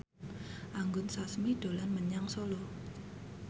Anggun Sasmi dolan menyang Solo